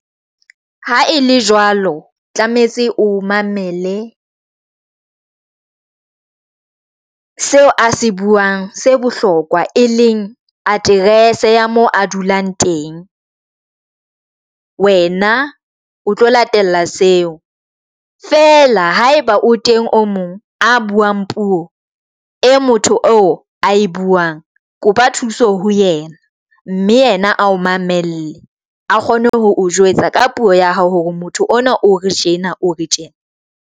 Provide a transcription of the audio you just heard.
Ha e le jwalo tlametse o mamele seo a se buang se bohlokwa, e leng aterese ya moo a dulang teng wena o tlo latela seo. Fela ha e ba o teng o mong a buang puo e motho eo a e buang kopa thuso ho yena mme yena ao mamelle a kgone ho jwetsa ka puo ya hao hore motho ona o re tjena o re tjena.